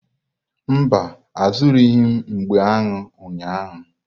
Mba, azụrụghị m mgbá aṅụ ụnyahụ.